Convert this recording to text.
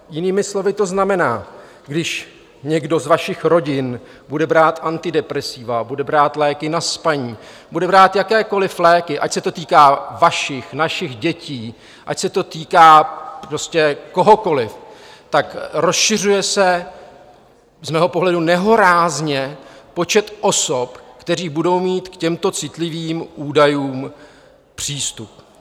Jinými slovy to znamená, když někdo z vašich rodin bude brát antidepresiva, bude brát léky na spaní, bude brát jakékoli léky, ať se to týká vašich, našich dětí, ať se to týká prostě kohokoli, tak rozšiřuje se z mého pohledu nehorázně počet osob, které budou mít k těmto citlivým údajům přístup.